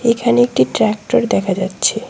এখানে একটি ট্রাকটর দেখা যাচ্ছে।